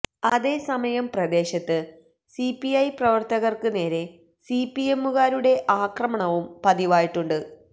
അതേസമയം പ്രദേശത്ത് സിപിഐ പ്രവര്ത്തകര്ക്ക് നേരെ സിപിഎമ്മുകാരുടെ ആക്രമണവും പതിവായിട്ടുണ്ട്